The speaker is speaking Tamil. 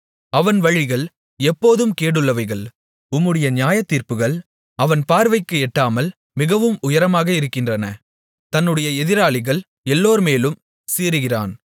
அவன் வழிகள் எப்போதும் கேடுள்ளவைகள் உம்முடைய நியாயத்தீர்ப்புகள் அவன் பார்வைக்கு எட்டாமல் மிகவும் உயரமாக இருக்கின்றன தன்னுடைய எதிராளிகள் எல்லோர்மேலும் சீறுகிறான்